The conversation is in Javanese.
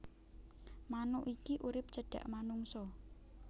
Manuk iki urip cedhak manungsa